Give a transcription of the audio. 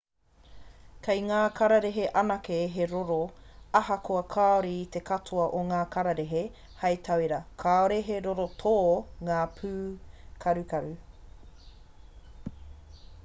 kei ngā kararehe anake he roro ahakoa kāore i te katoa o ngā kararehe; hei tauira kāore he roro tō ngā pūkarukaru